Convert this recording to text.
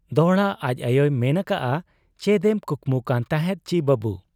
ᱫᱚᱦᱲᱟ ᱟᱡ ᱟᱭᱚᱭ ᱢᱮᱱ ᱟᱠᱟᱜ ᱟ, ᱪᱮᱫ ᱮᱢ ᱠᱩᱠᱢᱩ ᱠᱟᱱ ᱛᱟᱦᱮᱸᱫ ᱪᱤ ᱵᱟᱹᱵᱩ ?